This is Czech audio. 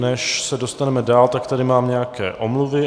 Než se dostaneme dál, tak tady mám nějaké omluvy.